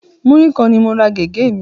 Múrí kan ni mo ra gẹ̀gẹ́ mi